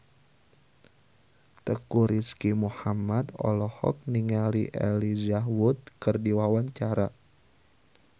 Teuku Rizky Muhammad olohok ningali Elijah Wood keur diwawancara